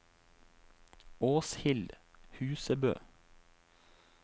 Åshild Husebø